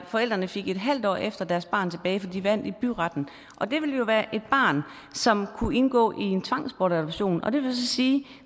forældrene fik et halvt år efter deres barn tilbage fordi de vandt i byretten det ville jo være et barn som kunne indgå i en tvangsadoption og det vil så sige